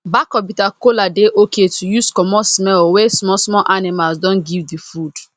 back of bitter kola dey okay to use comot smell wey small small animals don give the food